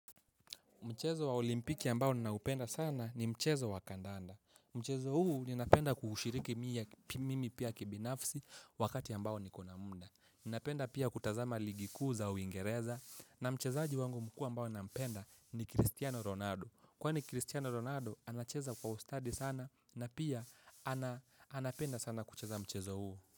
Mchezo wa olimpiki ambao ninaupenda sana ni mchezo wa kandanda. Mchezo huu ninapenda kuhushiriki mie mimi pia kibinafsi wakati ambao nikona muda. Ninapenda pia kutazama ligi kuu za uingereza. Na mchezaji wangu mkuu mbao ninampenda ni Cristiano Ronaldo. Kwani Cristiano Ronaldo anacheza kwa ustadi sana na pia ana anapenda sana kucheza mchezo huu.